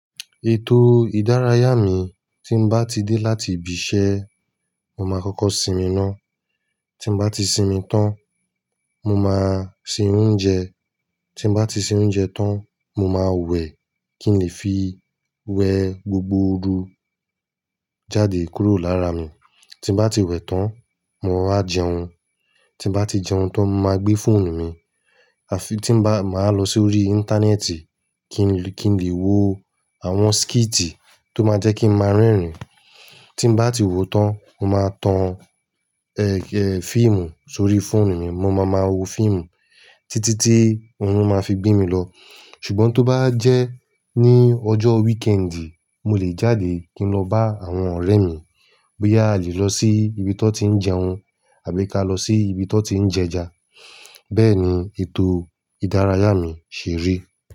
Ètò ìdárayá mi tí n bá ti dé láti ibi iṣẹ́, mo má kọ́kọ́ sinmi ná. Tí n bá ti sinmi tán, mo máa se oúnjẹ. Tí n bá ti se oúnjẹ tán, mo máa wẹ̀ kí n lè fi wẹ gbogbo ooru jáde kúrò lára mi. Tí n bá ti wẹ̀ tán, mo ma jẹun. Tí n bá ti jẹun tán, mo máa gbé fóònù mi, àfi tí n bá, máa lọ sórí íńtánẹ́ẹ̀tì kí n lè, kí n lè wo àwọn skíìtì tó máa jẹ́ kí n máa rẹ́rìn. Tí n bá ti wo tán, mo máa tan, ẹ, ẹ, fíìmù sórí fóònù mi. Mo má ma wo fíìmù títí tí orún máa fi gbí mi lọ. Ṣùngbọ́n tó bá jẹ́ ní ọjọ́ wíkẹ́ẹ̀dì, mo lè jáde kín lọ bá àwọn ọ̀rẹ́ mi. Bóyá a lè lọ sí ibi tí wọ́n tí ń jẹun àbí ká lọ sí ibi tí wọ́n tí ń jẹja. Bẹ́ẹ̀ ni ètò ìdárayá mi ṣerí.